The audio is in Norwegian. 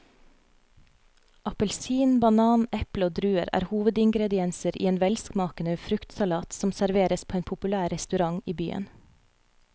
Appelsin, banan, eple og druer er hovedingredienser i en velsmakende fruktsalat som serveres på en populær restaurant i byen.